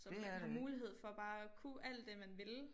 Så man har mulighed for bare at kunne alt det man ville